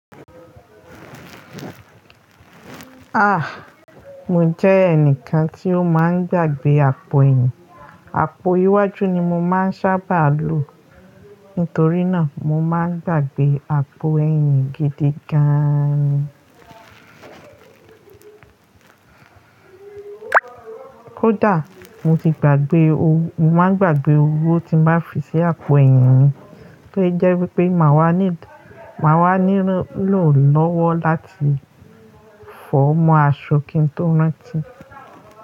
Ah! Mo jẹ́ ẹnìkan tí ó máa ń gbàgbé àpò ẹyin. Àpò iwájú ni mo máa ń sábà lò. Nítorí náà, mo máa ń gbàgbé àpò ẹyin gidi gan. Kódà mo ti gbàgbé owo, mo máa ń gbàgbé owó tí máa fi sí àpò ẹyin mi, tó jẹ́ wípé máa wà ní, máa wà nílò lọ́wọ́ láti fọ́ mọ́ aṣọ kí n tó rántí.